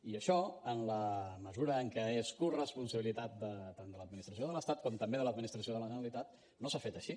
i això en la mesura en què és corresponsabilitat tant de l’administració de l’estat com també de l’administració de la generalitat no s’ha fet així